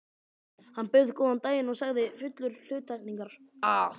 Hann bauð góðan daginn og sagði fullur hluttekningar, að